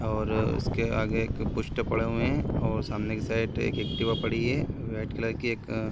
और इसके आगे एक पोस्टर पड़े हुए हैं और सामने के साइड एक एक्टिवा पड़ी है वाइट कलर की --